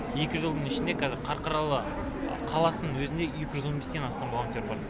екі жылдың ішінде қазір қарқаралы қаласының өзінде екі жүз он бестен астам волонтер бар